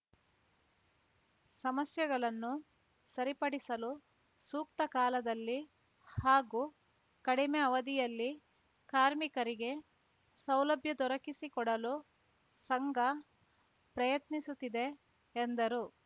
ಸಮಸ್ಯೆಗಳನ್ನು ಸರಿಪಡಿಸಲು ಸೂಕ್ತ ಕಾಲದಲ್ಲಿ ಹಾಗೂ ಕಡಿಮೆ ಅವಧಿಯಲ್ಲಿ ಕಾರ್ಮಿಕರಿಗೆ ಸೌಲಭ್ಯ ದೊರಕಿಸಿಕೊಡಲು ಸಂಘ ಪ್ರಯತ್ನಿಸುತ್ತಿದೆ ಎಂದರು